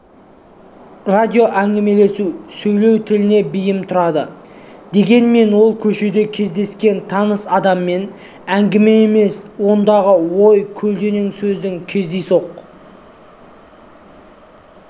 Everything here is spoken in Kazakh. радиоәңгімелесу сөйлеу тіліне бейім тұрады дегенмен ол көшеде кездескен таныс адаммен әңгіме емес ондағы ой көлденең сөздің кездейсоқ